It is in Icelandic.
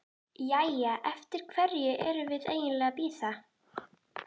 Jæja, eftir hverju erum við eiginlega að bíða?